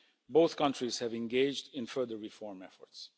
Both countries have engaged in further reform efforts.